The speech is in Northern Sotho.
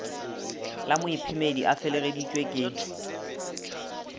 la moiphemedi a felegeditšwe ke